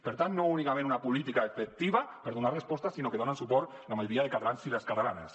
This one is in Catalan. per tant no únicament una política efectiva per donar respostes sinó que hi donen suport la majoria de catalans i les catalanes